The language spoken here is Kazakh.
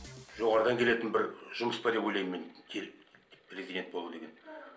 жоғарыдан келетін бір жұмыс па деп ойлаймын мен президент болу деген